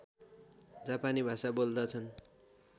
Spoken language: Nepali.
जापानी भाषा बोल्दछन्